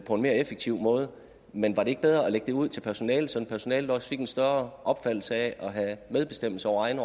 på en mere effektiv måde men var det ikke bedre at lægge det ud til personalet så personalet også fik en større opfattelse af at have medbestemmelse over egne